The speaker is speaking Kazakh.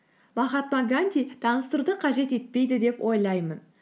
махатма ганди таныстыруды қажет етпейді деп ойлаймын